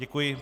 Děkuji.